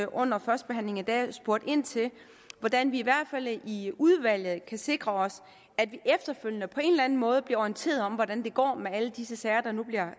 under førstebehandlingen i dag spurgt ind til hvordan vi i hvert fald i udvalget kan sikre os at vi efterfølgende på en eller anden måde bliver orienteret om hvordan det går med alle disse sager der nu bliver